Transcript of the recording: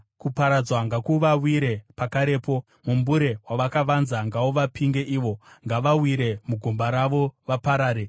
kuparadzwa ngakuvawire pakarepo, mumbure wavakavanza ngauvapinge ivo, ngavawire mugomba ravo vaparare.